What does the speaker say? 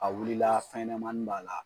A wulila fɛnɲanamani b'a la